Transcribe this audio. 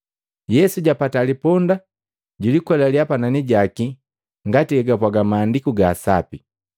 Yesu japata liponda, julikwelalia panani jaki ngati hegapwaga Maandiku ga Sapi.